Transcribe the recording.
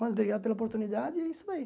Mano obrigado pela oportunidade e é isso aí.